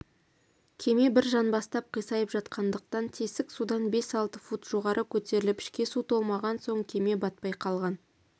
кеме бір жанбастап қисайып жатқандықтан тесік судан бес-алты фут жоғары көтеріліп ішке су толмаған соң кеме батпай қалған